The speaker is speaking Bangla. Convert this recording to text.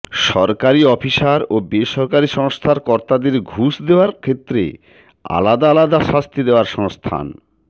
সরকারি অফিসার ও বেসরকারি সংস্থার কর্তাদের ঘুষ দেওয়ার ক্ষেত্রে আলাদা আলাদা শাস্তি দেওয়ার সংস্থান